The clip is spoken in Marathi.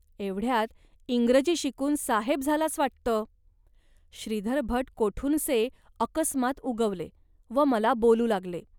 एवढ्यात इंग्रजी शिकून साहेब झालास, वाटतं. श्रीधरभट कोठूनसे अकस्मात उगवले व मला बोलू लागले